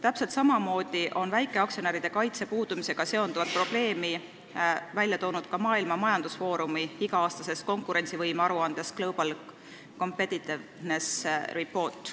Täpselt samamoodi on väikeaktsionäride kaitse puudumise probleemi toodud välja ka Maailma Majandusfoorumi iga-aastases konkurentsivõime aruandes "The Global Competitiveness Report".